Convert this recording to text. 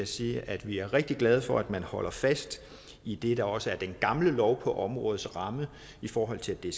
sige at vi er rigtig glade for at man holder fast i det der også er den gamle lov på områdets ramme i forhold til at det